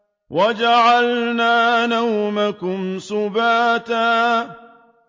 وَجَعَلْنَا نَوْمَكُمْ سُبَاتًا